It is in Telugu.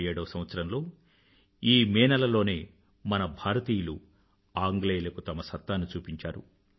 1857వ సంవత్సరంలో ఈ మే నెల లోనే మన భారతీయులు ఆంగ్లేయులకు తమ సత్తాను చూపించారు